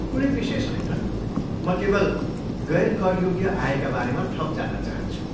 कुनै विशेष होइन, म केवल गैर करयोग्य आयका बारेमा थप जान्न चाहन्छु।